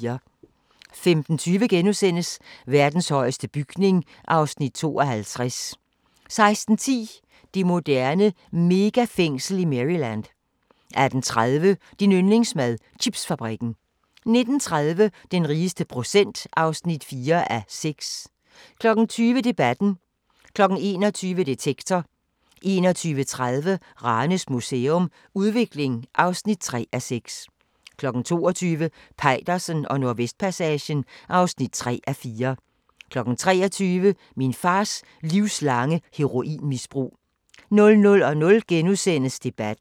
15:20: Verdens højeste bygning (Afs. 52)* 16:10: Det moderne megafængsel i Maryland 18:30: Din yndlingsmad: Chipsfabrikken 19:30: Den rigeste procent (4:6) 20:00: Debatten 21:00: Detektor 21:30: Ranes Museum – Udvikling (3:6) 22:00: Peitersen og Nordvestpassagen (3:4) 23:00: Min fars livslange heroinmisbrug 00:00: Debatten *